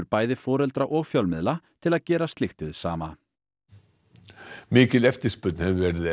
bæði foreldra og fjölmiðla til að gera slíkt hið sama mikil eftirspurn hefur verið